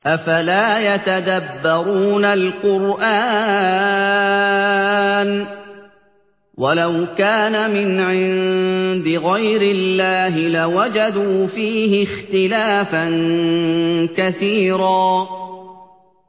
أَفَلَا يَتَدَبَّرُونَ الْقُرْآنَ ۚ وَلَوْ كَانَ مِنْ عِندِ غَيْرِ اللَّهِ لَوَجَدُوا فِيهِ اخْتِلَافًا كَثِيرًا